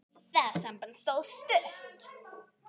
Það samband stóð stutt.